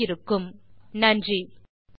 இத்துடன் இது முடிகிறதுதமிழாக்கம் கடலூர் திவா